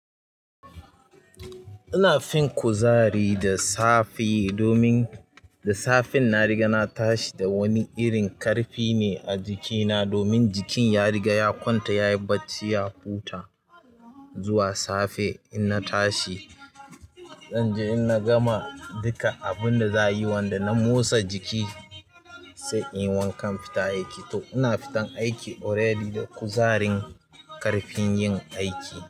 Ina fin kuzari da safe domin da safen na riga na tashi da wani irin ƙarfi ne a jikina domin jikin ya riga ya kwanta yayi barci ya huta zuwa safe in na tashi. Zanje in na gama dukkan abun da za'ayi wanda na motsa jiki zanyi wanka in fita aiki to ina fitan aiki already da kuzarin ƙarfin yin aiki.